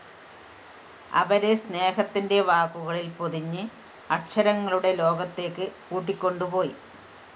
അവരെ സ്‌നേഹത്തിന്റെ വാക്കുകളില്‍ പൊതിഞ്ഞ് അക്ഷരങ്ങളുടെ ലോകത്തേക്ക് കൂട്ടിക്കൊണ്ടുപോയി